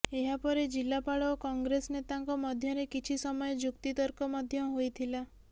ଏହାପରେ ଜିଲାପାଳ ଓ କଂଗ୍ରେସ ନେତାଙ୍କ ମଧ୍ୟରେ କିଛି ସମୟ ଯୁକ୍ତିତର୍କ ମଧ୍ୟ ହୋଇଥିଲା